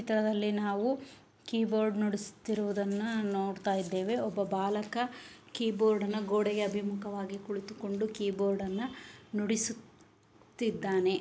ಇದರಲ್ಲಿ ನಾವು keyboard ನುಡಿಸುತಿರುವುದನ್ನ ನೋಡತಾ ಇದೇವೆ ಒಬ್ಬ ಬಾಲಕ ಕೀ ಬೋರ್ಡ್ ಅಣ್ಣ ಗೋಡೆಗೆ ಅಭೀಮುಖವಾಗಿ ಕುಳಿತುಕೊಂಡು ಕೀ ಬೋರ್ಡ್ ಅನ್ನ ನುಡಿಸುತ್ತಿದಾನೆ .